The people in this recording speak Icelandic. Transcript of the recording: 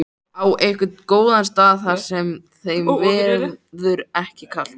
Á einhvern góðan stað þar sem þeim verður ekki kalt.